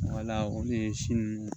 Wala olu ye si ninnu